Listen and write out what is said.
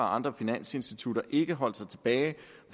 andre finansinstitutter ikke holdt sig tilbage